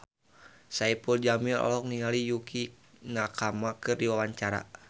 Saipul Jamil olohok ningali Yukie Nakama keur diwawancara